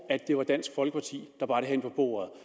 at det var dansk folkeparti der bar det hen på bordet